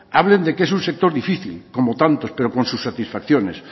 hablen de que es un sector difícil como tantos pero con sus satisfacciones